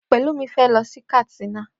Pelumi fé lọ sí Katsina